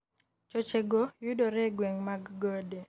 choche go yudore e gwenge mag gode